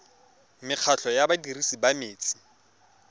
mekgatlho ya badirisi ba metsi